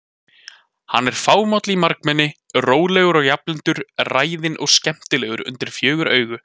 Hann er fámáll í margmenni, rólegur og jafnlyndur, ræðinn og skemmtilegur undir fjögur augu.